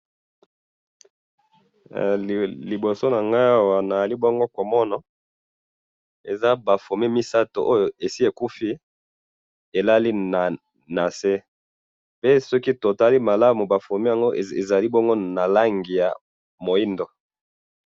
liboso nangayi awa nazo komona ezali ba fourmi misatou si ekoufi pe soki totali malalu ba fourmi yango eza na langi ya mwindo.